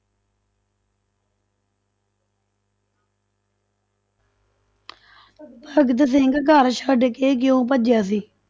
ਭਗਤ ਸਿੰਘ ਘਰ ਛੱਡ ਕੇ ਕਿਉਂ ਭੱਜਿਆ ਸੀ?